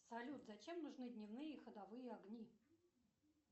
салют зачем нужны дневные ходовые огни